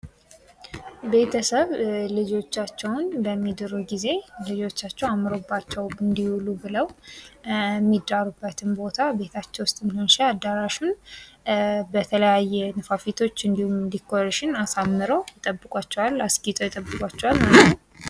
የቤት ውስጥ ማስጌጥ የቤት እቃዎችን፣ ቀለሞችን፣ መጋረጃዎችንና ሌሎች የውስጥ ዲዛይን አካላትን ያካትታል